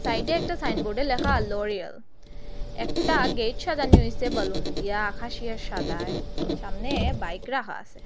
সাইডে একটা সাইন বোর্ডে লেখা লরিয়াল একটা গেইট সাজানি হয়েসে বেলুন দিয়া আকাশী আর সাদায় সামনে বাইক রাখা আসে।